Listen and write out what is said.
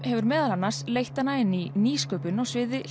hefur meðal annars leitt hana inn í nýsköpun á sviði